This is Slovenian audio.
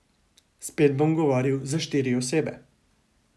Spet bom govoril za štiri osebe.